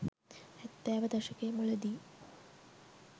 හැත්තෑව දශකය මුලදී